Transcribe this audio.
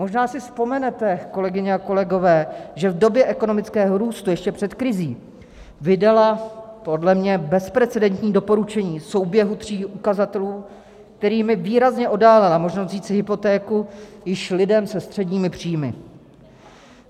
Možná si vzpomenete, kolegyně a kolegové, že v době ekonomického růstu ještě před krizí vydala podle mě bezprecedentní doporučení souběhu tří ukazatelů, kterými výrazně oddálila možnost vzít si hypotéku již lidem se středními příjmy.